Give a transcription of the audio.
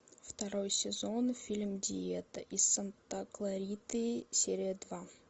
второй сезон фильм диета из санта клариты серия два